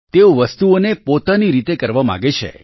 તેઓ વસ્તુઓને પોતાની રીતે કરવા માગે છે